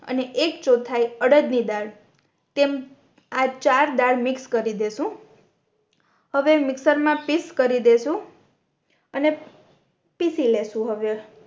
અને એક ચૌઠાઈ અરદ ની દાળ તેમ આ ચાર દાળ મિક્સ કરી દેસુ હવે મિક્સર મા પીસ કરી દેસુ અને પીસી લેસુ હવે